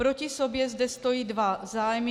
Proti sobě zde stojí dva zájmy.